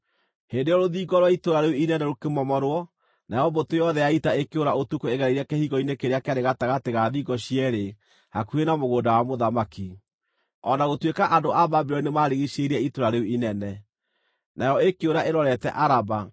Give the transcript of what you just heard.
Hĩndĩ ĩyo rũthingo rwa itũũra rĩu inene rũkĩmomorwo, nayo mbũtũ yothe ya ita ĩkĩũra ũtukũ ĩgereire kĩhingo-inĩ kĩrĩa kĩarĩ gatagatĩ ga thingo cierĩ hakuhĩ na mũgũnda wa mũthamaki, o na gũtuĩka andũ a Babuloni nĩmarigiicĩirie itũũra rĩu inene. Nayo ĩkĩũra ĩrorete Araba,